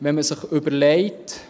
Wenn man sich überlegt: